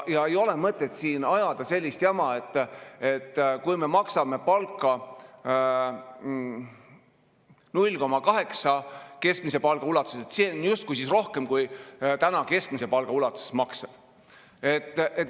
Ei ole mõtet siin ajada sellist jama, et kui me maksame palka 0,8 ulatuses keskmisest palgast, siis see on justkui rohkem kui keskmise palga ulatuses maksta.